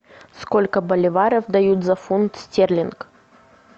сколько боливаров дают за фунт стерлинг